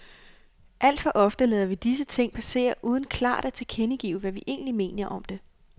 Alt for ofte lader vi disse ting passere uden klart at tilkendegive, hvad vi egentlig mener om det.